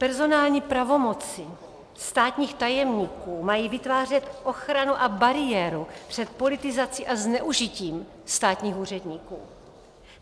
Personální pravomoci státních tajemníků mají vytvářet ochranu a bariéru před politizací a zneužitím státních úředníků.